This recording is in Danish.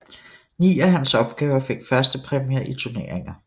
Ni af hans opgaver fik førstepræmier i turneringer